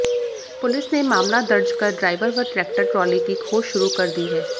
police ने मामला दर्ज कर ड्राइवर व ट्रैक्टर ट्राली की खोज शुरू कर दी है